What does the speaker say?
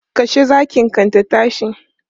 Kashe zakin kan ta tashi!